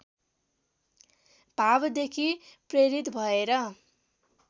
भावदेखि प्रेरित भएर